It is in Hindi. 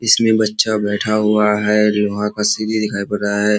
इसमें बच्चा बैठा हुआ है और वहाँ का सीढ़ी दिखाई पड़ रहा है।